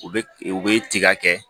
U bɛ u bɛ tiga kɛ